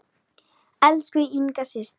Elsku Inga systir.